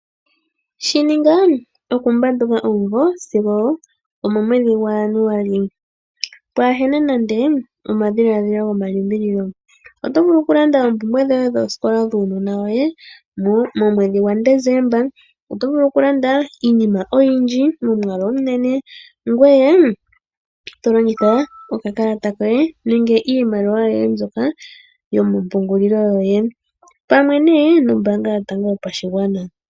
Shininga okumbanduka omumvu sigo omo mwedhi gwajanuali pwaahena nande omadhilaadhilo gomalimbililo. Oto vulu okulanda oompumbwe dhoye dhuunona woye momwedhi gwaDecemba. Otovulu okulanda iinima oyindji momwaalu omunene ngoye tolongitha okakalata koye nenge iimaliwa yoye mbyoka yomompungulilo yoye, pamwe nee nombaanga yotango yopashigwana.